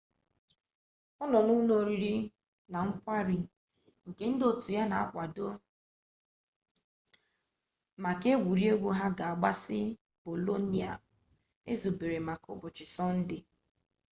ọ nọbu n'ụlọ oriri na nkwari nke ndị otu ya na-akwado maka egwuregwu ha ga-agbasị bolonia ezubere maka ụbọchị sọnde